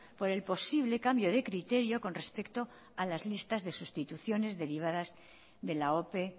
por el posible cambio de criterio con respecto a las listas de sustituciones derivadas de la ope